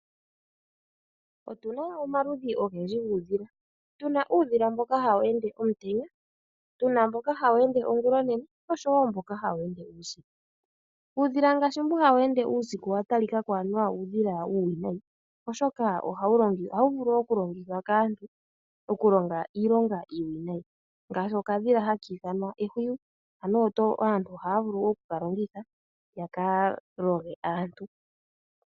Otuna omaludhi ogendji guudhila. Tuna uudhila mboka hawu tuka omutenya, tuna mboka hawu tuka ongula onene, oshowo mboka hawu tuka uusiku. Uudhila ngaashi mboka hawu tuka uusiku owa talikako onga uudhila uuwinayi, oshoka ohawu vulu okulongithwa kaantu, okulonga iilonga iiwinayi. Ngaashi okadhila haki ithanwa ehwiyu, ohaka longithwa kaalodhi.